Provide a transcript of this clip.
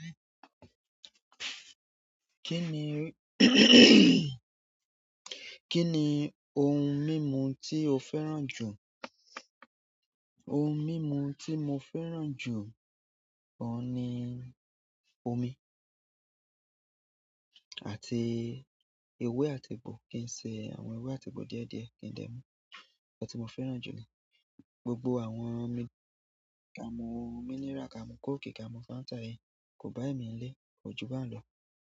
Kí ni ohun mímu tí o fẹ́ràn jù? Ohun mímu tí mo fẹ́ràn jù ọ̀ ni omi àti ewé àti egbò kí ń ṣe àwọn ewé àti egbò díẹ̀ díẹ̀.